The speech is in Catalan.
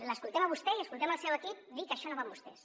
l’escoltem a vostè i escoltem el seu equip dir que això no va amb vostès